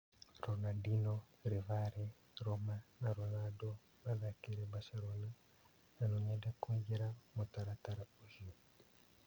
Ronandino, Rivare, Roma na Ronando mathakĩire Mbacerona na no-nyende kũingĩra mũtaratara ũcio.